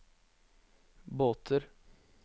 båter